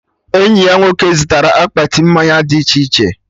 Enyi ya nwoke zụtara akpati mmanya dị iche iche